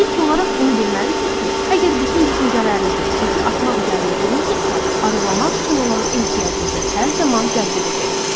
İlk olaraq bunu bilməlisiniz ki, əgər bütün düşüncələrinizi çəki atmaq üzərində qurmusunuzsa, arıqlamaq üçün olan ehtiyacınızı hər zaman cəzb edəcəksiz.